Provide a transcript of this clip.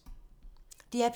DR P2